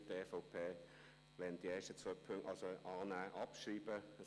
Die EVP nimmt die ersten zwei Punkte an und schreibt sie ab.